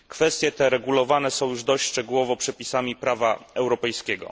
Kwestie te regulowane są już dość szczegółowo przepisami prawa europejskiego.